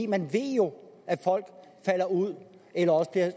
man ved jo at folk falder ud eller at